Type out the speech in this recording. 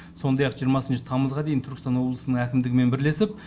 сондай ақ жиырмасыншы тамызға дейін түркістан облысының әкімдігімен бірлесіп